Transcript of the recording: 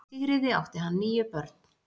Með Sigríði átti hann níu börn.